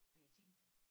Og jeg tænkte